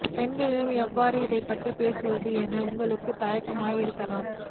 பெண்ணிடம் எவ்வாறு இதைப் பற்றி பேசுவது என உங்களுக்கு தயக்கம் இருக்கலாம்